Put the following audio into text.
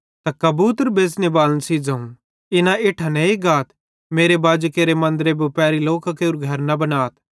त कबूतर बेच़नेबालन सेइं ज़ोवं इना इट्ठां नेइ गाथ मेरे बाजी केरे मन्दरे बुपारी लोकां केरू घर न बनाथ